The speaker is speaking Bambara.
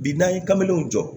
Bi n'an ye kamelenw jɔ